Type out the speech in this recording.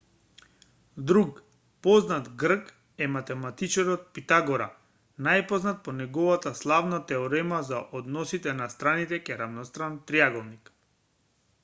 друг познат грк е математичарот питагора најпознат по неговата славна теорема за односот на страните кај рамностран триаголник